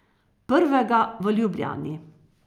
Prvega v Ljubljani.